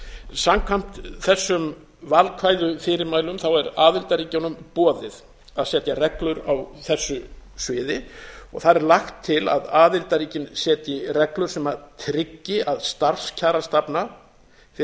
samkvæmt þessum valkvæðu fyrirmælum er aðildarríkjunum boðið að setja reglur á þessu sviði þar er lagt til að aðildarríkin setji reglur sem tryggi að starfskjarastefna fyrir